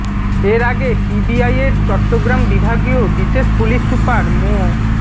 এর আগে পিবিআইয়ের চট্টগ্রাম বিভাগীয় বিশেষ পুলিশ সুপার মো